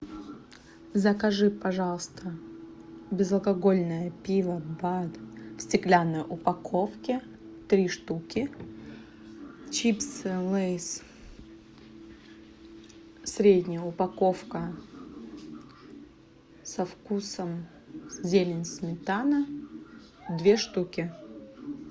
закажи пожалуйста безалкогольное пиво бад в стеклянной упаковке три штуки чипсы лейс средняя упаковка со вкусом зелень сметана две штуки